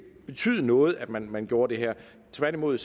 betyde noget at man man gjorde det her tværtimod